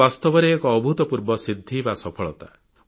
ଏହା ବାସ୍ତବରେ ଏକ ଅଭୂତପୂର୍ବ ସିଦ୍ଧି ସଫଳତା